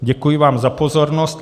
Děkuji vám za pozornost.